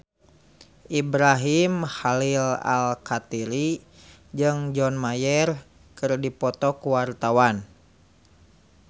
Ibrahim Khalil Alkatiri jeung John Mayer keur dipoto ku wartawan